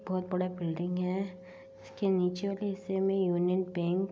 बहुत बड़ा बिल्डिंग है इसके नीचे वाले हिस्से में यूनियन बैंक --